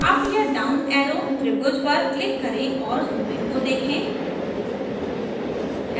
up या down arrow त्रिभुज पर click करें और zooming को देखें